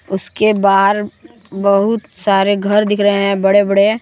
उसके बाहर बहुत सारे घर दिख रहे हैं बड़े बड़े।